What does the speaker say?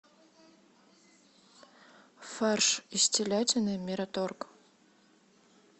фарш из телятины мираторг